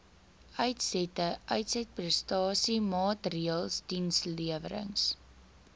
uitsette uitsetprestasiemaatreëls dienslewerings